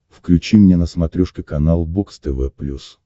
включи мне на смотрешке канал бокс тв плюс